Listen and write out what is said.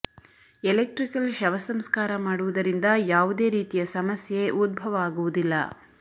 electrical ಶವ ಸಂಸ್ಕಾರ ಮಾಡುವುದರಿಂದ ಯಾವುದೇ ರೀತಿಯ ಸಮಸ್ಯೆ ಉದ್ಭವ ಆಗುವುದಿಲ್ಲ